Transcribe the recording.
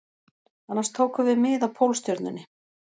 Annars tókum við mið af Pólstjörnunni